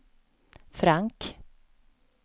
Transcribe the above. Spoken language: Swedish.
Frank